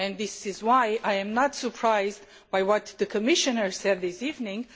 That is also why I am not surprised by what the Commissioner has said this evening.